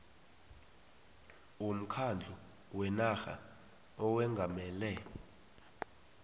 womkhandlu wenarha owengamele